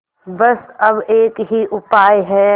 बस अब एक ही उपाय है